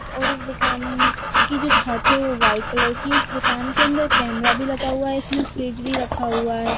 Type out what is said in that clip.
और इस दुकान की जो छत है वह व्हाइट कलर की है इस दुकान के अंदर कैमरा भी लगा हुआ है इसमें फ्रिज भी रखा हुआ है।